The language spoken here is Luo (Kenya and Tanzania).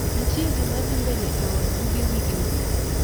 Ntie gimadhii mbele e odd buge wigni?